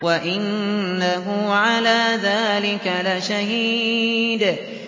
وَإِنَّهُ عَلَىٰ ذَٰلِكَ لَشَهِيدٌ